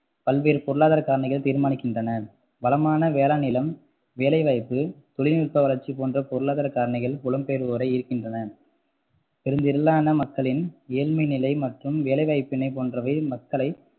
பல்வேறு பொருளாதார காரணிகள் தீர்மானிக்கின்றன வளமான வேளாண் நிலம், வேலைவாய்ப்பு, தொழில்நுட்பவளர்ச்சி போன்ற பொருளாதார காரணிகள் புலம்பெயர்வோரை ஈர்க்கின்றன பெருந்திரலான மக்களின் ஏழ்மை நிலை மற்றும் வேலைவாய்ப்பின்மை போன்றவை மக்களை